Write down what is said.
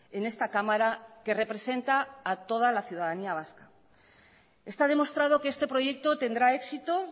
en esta cámara que representa a toda la ciudadanía vasca está demostrado que este proyecto tendrá éxito